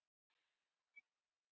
GUÐLEYSIÐ ÁN ÞÍN